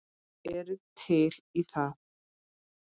Ertu til í það?